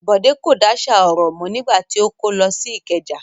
Bọ̀dé kò dáṣà ọ̀rọ̀ mọ́ nígbà tí ó kó lọ sí Ìkẹjà.